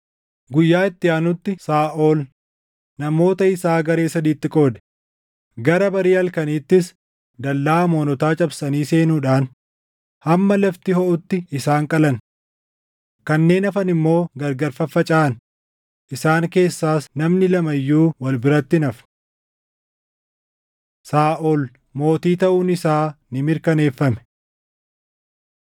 Guyyaa itti aanutti Saaʼol namoota isaa garee sadiitti qoode; gara barii halkaniittis dallaa Amoonotaa cabsanii seenuudhaan hamma lafti hoʼutti isaan qalan. Kanneen hafan immoo gargar faffacaʼan; isaan keessaas namni lama iyyuu wal biratti hin hafne. Saaʼol Mootii Taʼuun Isaa Ni Mirkaneeffame